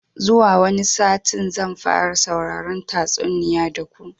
Zuwa wani satin zan fara sauraron tatsuniya da ku